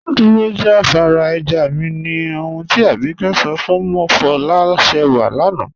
Dúró jàfàrà ẹ̀já mí, ní òhùn tí Ábíkẹ̀ sọ̀ fún Mofọlásẹ́wà lànà.